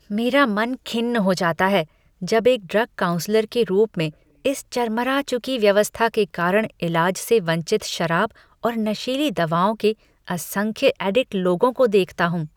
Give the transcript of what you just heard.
मेरा मन खिन्न हो जाता है जब एक ड्रग काउन्सलर के रूप में इस चरमरा चुकी व्यवस्था के कारण इलाज से वंचित शराब और नशीली दवाओं के असंख्य एडिक्ट लोगों को देखता हूँ।